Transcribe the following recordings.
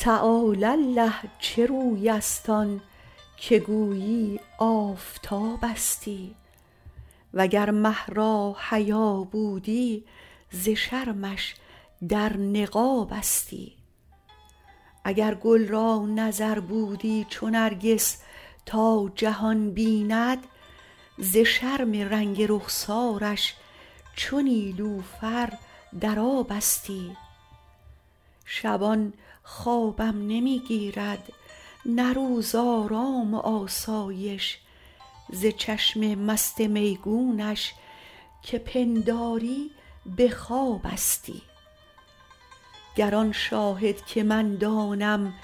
تعالی الله چه روی است آن که گویی آفتابستی و گر مه را حیا بودی ز شرمش در نقابستی اگر گل را نظر بودی چو نرگس تا جهان بیند ز شرم رنگ رخسارش چو نیلوفر در آبستی شبان خوابم نمی گیرد نه روز آرام و آسایش ز چشم مست میگونش که پنداری به خوابستی گر آن شاهد که من دانم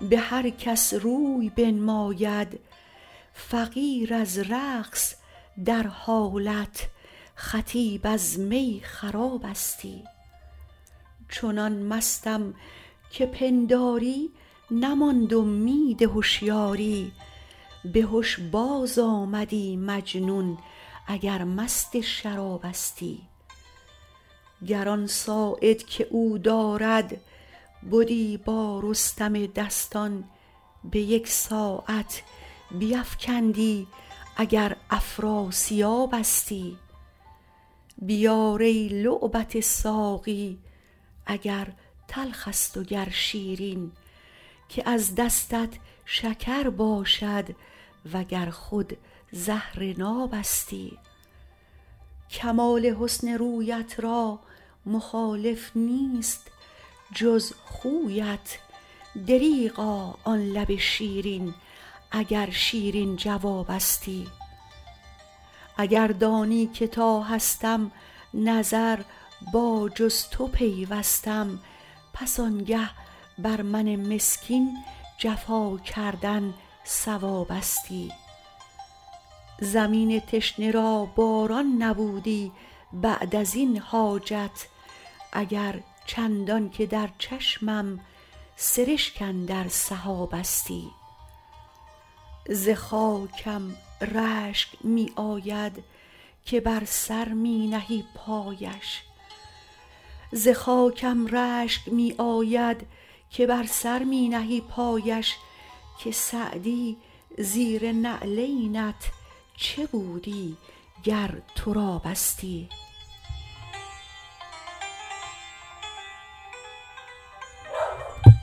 به هر کس روی بنماید فقیر از رقص در حالت خطیب از می خرابستی چنان مستم که پنداری نماند امید هشیاری به هش بازآمدی مجنون اگر مست شرابستی گر آن ساعد که او دارد بدی با رستم دستان به یک ساعت بیفکندی اگر افراسیابستی بیار ای لعبت ساقی اگر تلخ است و گر شیرین که از دستت شکر باشد و گر خود زهر نابستی کمال حسن رویت را مخالف نیست جز خویت دریغا آن لب شیرین اگر شیرین جوابستی اگر دانی که تا هستم نظر با جز تو پیوستم پس آنگه بر من مسکین جفا کردن صوابستی زمین تشنه را باران نبودی بعد از این حاجت اگر چندان که در چشمم سرشک اندر سحابستی ز خاکم رشک می آید که بر سر می نهی پایش که سعدی زیر نعلینت چه بودی گر ترابستی